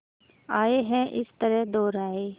आए हैं इस तरह दोराहे